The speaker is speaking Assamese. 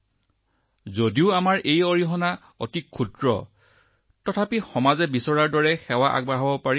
আৰু ছাৰ যেতিয়া আমি ৰাষ্ট্ৰ মানৱতা সমাজৰ আশা অনুসৰি আমাৰ স্তৰত আশা কৰা ধৰণে কাম কৰো যি এটা মাত্ৰ টোপালৰ সমান আমি ইয়াক পালন কৰাৰ সময়ত গৌৰৱৰ অনুভূতি হয়